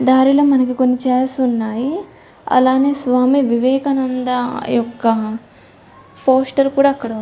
దారిలో మనకి కొన్ని చైర్లు ఉన్నాయి అలానే స్వామి వివేకా నంద యొక్క పోస్టర్ కూడా అక్కడ --